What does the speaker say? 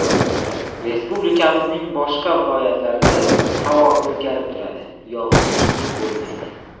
Respublikaning boshqa viloyatlarida havo o‘zgarib turadi, yog‘ingarchilik bo‘lmaydi.